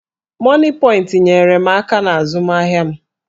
Mọnịpọịntị nyeere m aka n'azụmahịa m.